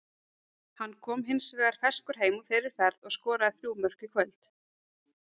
Hann kom hins vegar ferskur heim úr þeirri ferð og skoraði þrjú mörk í kvöld.